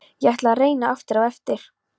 Ég ætla að reyna aftur á eftir.